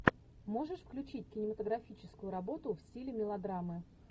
можешь включить кинематографическую работу в стиле мелодрамы